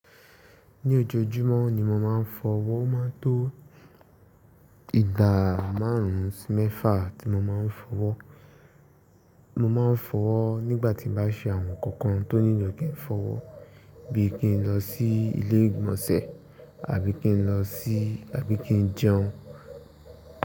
Ní ojoojúmọ́ ni mo máa ń fọwọ́, ó máa ń tó ìgbà márùn-ún sí mẹ́fà tí mo máa ń fọwọ́. Mo máa ń fọwọ́ nígbà tí n bá ṣe àwọn nǹkan kan tó nílò kí n fọwọ́, bí i kí n lọ sí ilé ìgbọ̀nsẹ̀ àbí kí n lọ sí-- àbí kí n jẹun.